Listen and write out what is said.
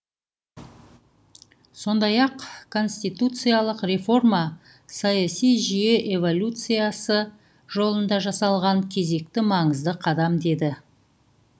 сондай ақ конституциолық реформа саяси жүйе эволюциясы жолында жасалған кезекті маңызды қадам деді